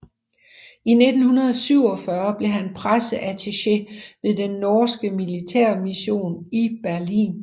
I 1947 blev han presseattaché ved den norske militærmission i Berlin